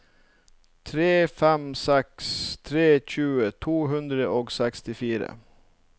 tre fem seks tre tjue to hundre og sekstifire